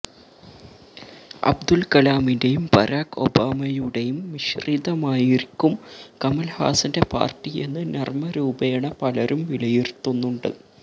അബ്ദുൽ കലാമിന്റേയും ബരാക് ഒബാമയുടേയും മിശ്രിതമായിരിക്കും കമൽഹാസന്റെ പാർട്ടി എന്ന് നർമരൂപേണ പലരും വിലയിരുത്തുന്നുണ്ട്